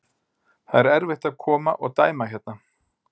Það er erfitt að koma og dæma hérna.